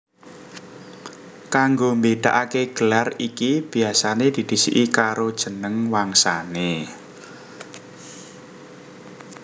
Kanggo mbédakaké gelar iki biasané didhisiki karo jeneng wangsané